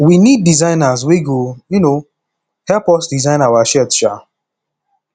we need designers wey go um help us design our shirt um